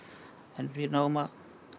en við náðum að